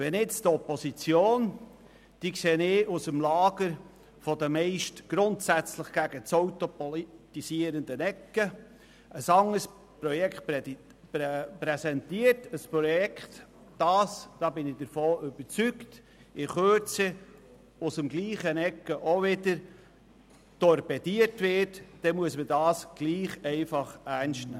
Wenn jetzt die Opposition – die ich aus dem Lager der meist grundsätzlich gegen das Auto politisierenden Ecken sehe – ein anderes Projekt präsentiert, ein Projekt, das, davon bin ich überzeugt, in Kürze aus der gleichen Ecke auch wieder torpediert wird, dann muss man das trotzdem ernst nehmen.